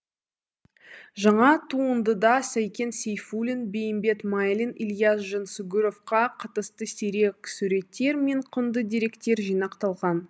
жаңа туындыда сәкен сейфулин бейімбет майлин ілияс жансүгіровқа қатысты сирек суреттер мен құнды деректер жинақталған